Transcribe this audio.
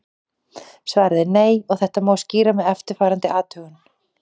Svarið er nei og þetta má skýra með eftirfarandi athugun.